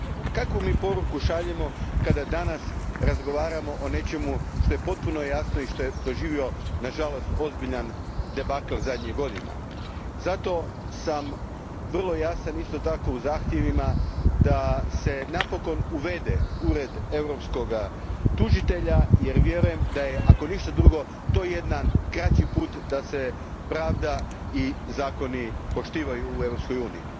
Kakvu mi poruku šaljemo danas kada razgovaramo o nečemu što je potpuno jasno i što je doživjelo, nažalost, ozbiljan debakl zadnjih godina. Zato sam vrlo jasan isto tako u zahtjevima da se napokon uvede ured europskoga tužitelja, jer vjerujem da je, ako ništa drugo, to jedan kraći put da se pravda i zakoni poštuju u Europskoj uniji.